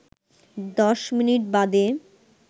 ১০ minute বাদে